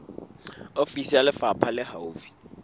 ofisi ya lefapha le haufi